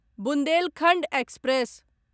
Bundelkhand express